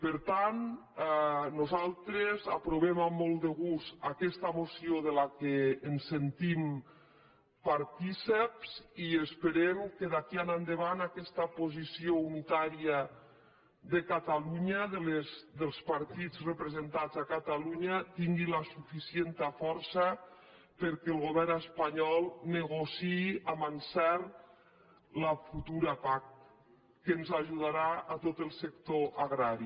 per tant nosaltres aprovem amb molt de gust aquesta moció de què ens sentim partícips i esperem que d’aquí endavant aquesta posició unitària de catalunya dels partits representats a catalunya tingui la suficient força perquè el govern espanyol negociï amb encert la futura pac que ens ajudarà a tot el sector agrari